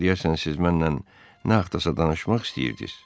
Axı deyəsən siz mənlə nə haqdasa danışmaq istəyirdiz.